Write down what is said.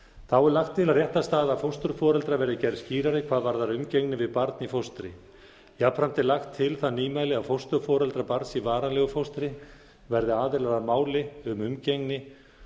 þá er lagt til að réttarstaða fósturforeldra verði gerð skýrari hvað varðar umgengni við barn í fóstri jafnframt er lagt til það nýmæli að fósturforeldrar barns í varanlegu fóstri verði aðilar að máli um umgengni